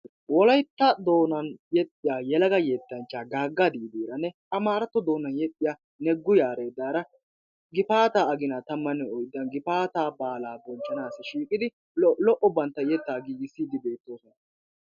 Wolaytta doonaan yeexxiya yelaga yettanchcha Gaaga Diidiranne Amaratto doonan yeexxiya Negu Yaredaara gifaataa aginaa tammanne oyddan gifaataa baalaa bonchchanassi shiiqidi lo''o bantta yeettaa giigisside beettoosona.